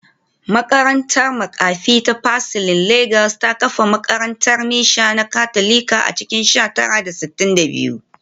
Makarantar makafi ta Pacelli Legas ta kafa makarantar mishan na Katolika a cikin sha tara da sittin da biyu